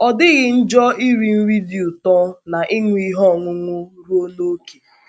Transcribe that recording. Ọ dịghị njọ iri nri dị ụtọ na ịṅụ ihe ọṅụṅụ ruo n’ókè.